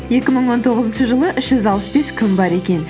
екі мың он тоғызыншы жылы үш жүз алпыс бес күн бар екен